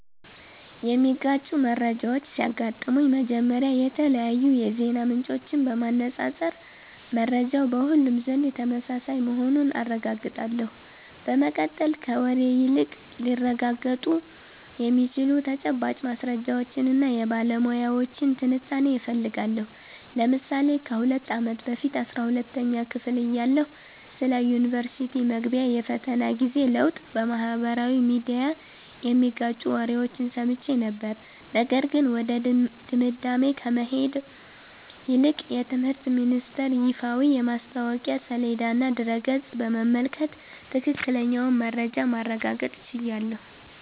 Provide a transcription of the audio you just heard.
የሚጋጩ መረጃዎች ሲያጋጥሙኝ፥ መጀመሪያ የተለያዩ የዜና ምንጮችን በማነፃፀር መረጃው በሁሉም ዘንድ ተመሳሳይ መሆኑን አረጋግጣለሁ። በመቀጠል፥ ከወሬ ይልቅ ሊረጋገጡ የሚችሉ ተጨባጭ ማስረጃዎችንና የባለሙያዎችን ትንታኔ እፈልጋለሁ። ለምሳሌ ከ2 አመት በፊት 12ኛ ክፍል እያለሁ ስለ ዩኒቨርስቲ መግቢያ የፈተና ጊዜ ለውጥ በማኅበራዊ ሚዲያ የሚጋጩ ወሬዎችን ሰምቼ ነበር፤ ነገር ግን ወደ ድምዳሜ ከመሄድ ይልቅ የትምህርት ሚኒስተር ይፋዊ የማስታወቂያ ሰሌዳና ድረ-ገጽ በመመልከት ትክክለኛውን መረጃ ማረጋገጥ ችያለሁ።